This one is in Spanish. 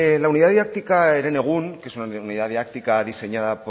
la unidad didáctica herenegun que es una unidad didáctica diseñada